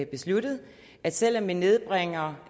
besluttet at selv om vi nedbringer